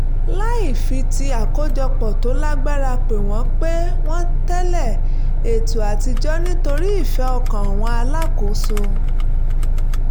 láì fi ti àkójopò tó lágbára pè wọ́n pè wọ́n tẹ̀lé ètò àtijọ́ nítorí ìfẹ́ ọkàn àwọn alákòóso